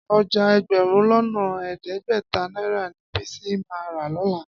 Ọjà ẹgbẹ̀rún lọ́nà ẹ̀ẹ́dẹ́gbẹ̀ta náírà ni Bísí máa rà lọ́la.